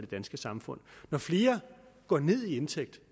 danske samfund når flere går ned i indtægt